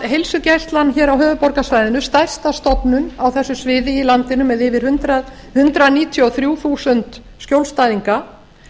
heilsugæslan á höfuðborgarsvæðinu stærsta stofnun á þessu sviði í landinu með yfir hundrað níutíu og þrjú þúsund skjólstæðinga